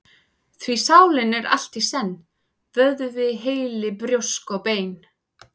Því sálin er allt í senn: vöðvi, heili, brjósk og bein.